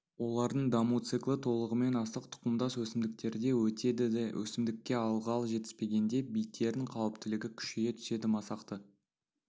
олардың даму циклы толығымен астық тұқымдас өсімдіктерде өтеді өсімдікке ылғал жетіспегенде биттердің қауіптілігі күшейе түседі масақты